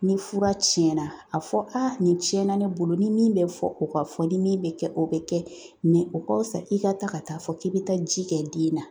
Ni fura cɛnna a fɔ nin cɛnna ne bolo nin min bɛ fɔ o ka fɔ, nin min bɛ kɛ o bɛ kɛ o ka fisa i ka taa ka taa fɔ k'i bɛ taa ji kɛ den na .